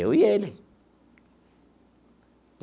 Eu e ele.